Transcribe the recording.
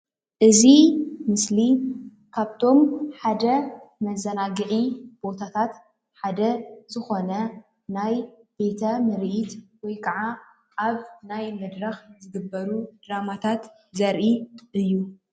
እዚ ምስሊ ካብቶም ሓደ መዛናግዒ ቦታታት ሓደ ዝኮነ ናይ ቤተ ምርኢት ወይ ከዓ ኣብ ናይ መድረክ ዝግበሩ ድራማታት ዘርኢ እዩ።